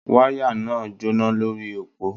Wáyà náà ń jóná lórí òpó